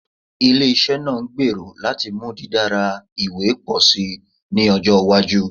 Ile-iṣẹ naa ngbero lati mu didara iwe pọ si ni ọjọ iwaju